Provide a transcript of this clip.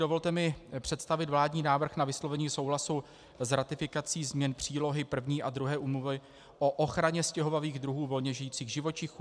Dovolte mi představit vládní návrh na vyslovení souhlasu s ratifikací změn přílohy I a II Úmluvy o ochraně stěhovavých druhů volně žijících živočichů.